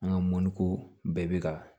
An ka mɔko bɛɛ bɛ ka